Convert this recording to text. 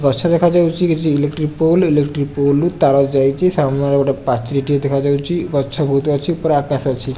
ଗଛ electric pole electric pole ରୁ ଯାଇଚି ସାମ୍ନାରେ ଗୋଟେ ପାଚେରି ଟିଏ ଦେଖାଯାଉଚି ଗଛ ବୋହୁତ୍ ଅଛି ଉପରେ ଆକାଶ ଅଛି।